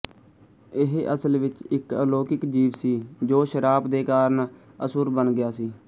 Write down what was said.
ਇਹ ਅਸਲ ਵਿੱਚ ਇੱਕ ਅਲੋਕਿਕ ਜੀਵ ਸੀ ਜੋ ਸ਼ਰਾਪ ਦੇ ਕਾਰਨ ਅਸੁਰ ਬਨ ਗਿਆ ਸੀ